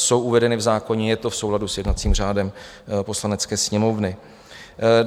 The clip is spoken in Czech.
Jsou uvedeny v zákoně, je to v souladu s jednacím řádem Poslanecké sněmovny.